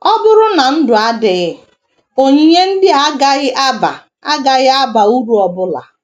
Ọ bụrụ na ndụ adịghị, onyinye ndị a agaghị aba agaghị aba uru ọ bụla.